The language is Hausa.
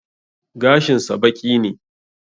Gashin sa baƙi ne